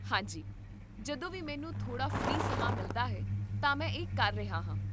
ਹਾਂ ਜੀ, ਜਦੋਂ ਵੀ ਮੈਨੂੰ ਥੋੜਾ ਫ੍ਰੀ ਸਮਾਂ ਮਿਲਦਾ ਹੈ ਤਾਂ ਮੈਂ ਇਹ ਕਰ ਰਿਹਾ ਹਾਂ